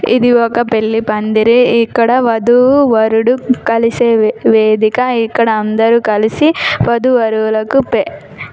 ఇది ఒక పెళ్లి పందిరి ఇక్కడ వధువు వరుడు కలిసే వేదిక ఇక్కడ అందరు కలిసి వధువు వరులకు--